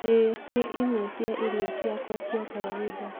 ĩĩ, nĩ imwe cia irio ciakwa cia kawaida.